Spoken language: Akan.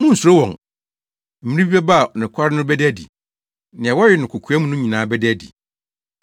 “Munnsuro wɔn. Mmere bi bɛba a nokware no bɛda adi. Nea wɔyɛ no kokoa mu no nyinaa bɛda adi.